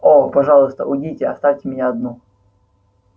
о пожалуйста уйдите оставьте меня одну